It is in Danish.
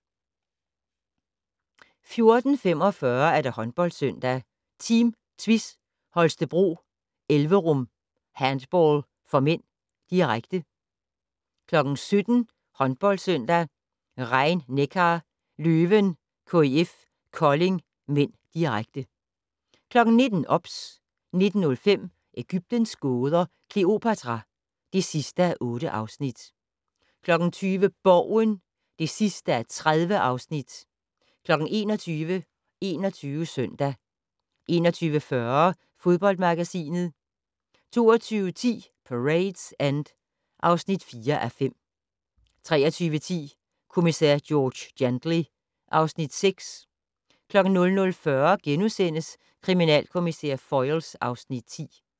14:45: HåndboldSøndag: Team Tvis Holstebro-Elverum Handball (m), direkte 17:00: HåndboldSøndag: Rhein-Neckar Löwen-KIF Kolding (m), direkte 19:00: OBS 19:05: Egyptens gåder - Kleopatra (8:8) 20:00: Borgen (30:30) 21:00: 21 Søndag 21:40: Fodboldmagasinet 22:10: Parade's End (4:5) 23:10: Kommissær George Gently (Afs. 6) 00:40: Kriminalkommissær Foyle (Afs. 10)*